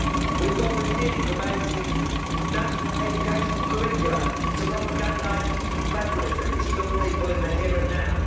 We've got Renew promoting national educational curricula to propagandise EU federalism to young people in the here and now.